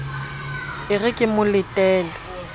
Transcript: e re ke mo letele